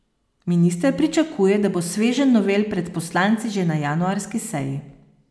Minister pričakuje, da bo sveženj novel pred poslanci že na januarski seji.